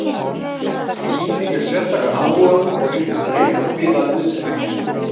Hann sýndi mér sérstakan áhuga og virtist leitast við að liðsinna mér.